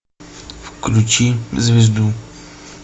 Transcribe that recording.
включи звезду